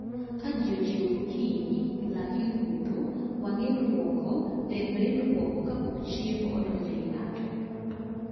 Ka ji ochiew gokinyi, lak orudho, wang' ilwoko, del be ilwoko kapok chiemo odonjo e I ng'ato